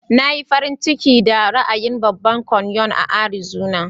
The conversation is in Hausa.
Na yi farin ciki da ra'ayin babban kanyon a Arizona.